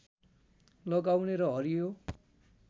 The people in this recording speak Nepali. लगाउने र हरियो